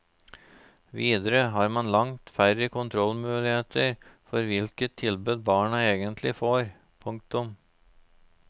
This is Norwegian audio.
Videre har man langt færre kontrollmuligheter for hvilket tilbud barna egentlig får. punktum